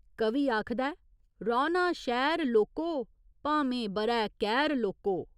कवि आखदा ऐ, रौह्‌ना शैह्‌र लोको भामे ब'रै कैह्‌र लोको।